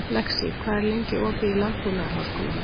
Lexí, hvað er lengi opið í Landbúnaðarháskólanum?